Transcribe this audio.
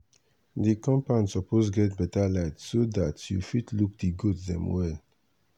the compound suppose get better light so dat you fit look di goat dem well.